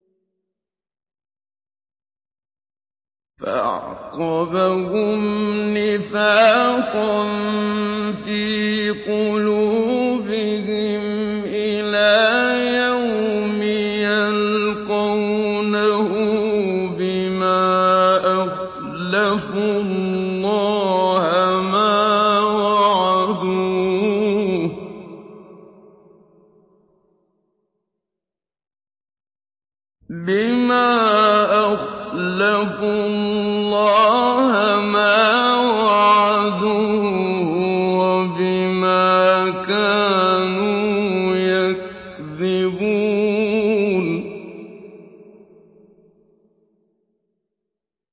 فَأَعْقَبَهُمْ نِفَاقًا فِي قُلُوبِهِمْ إِلَىٰ يَوْمِ يَلْقَوْنَهُ بِمَا أَخْلَفُوا اللَّهَ مَا وَعَدُوهُ وَبِمَا كَانُوا يَكْذِبُونَ